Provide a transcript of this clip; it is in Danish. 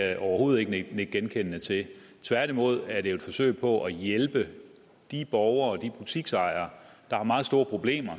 jeg overhovedet ikke nikke genkendende til tværtimod er det jo et forsøg på at hjælpe de borgere og de butiksejere der har meget store problemer